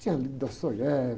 Tinha lido Dostoiévski